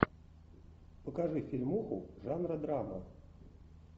покажи фильмуху жанра драма